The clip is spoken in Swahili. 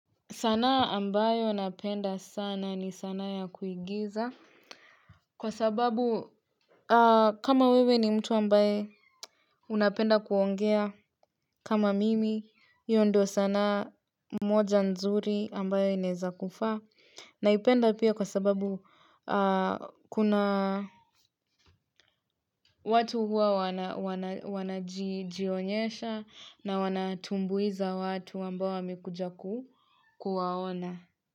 Sanaa ambayo napenda sana ni sanaa ya kuigiza kwa sababu kama wewe ni mtu ambaye unapenda kuongea kama mimi hiyo ndio sanaa moja nzuri ambayo inaweza kufaa naipenda pia kwa sababu kuna watu huwa wanajionyesha na wanatumbuiza watu ambao wamekuja kuwaona.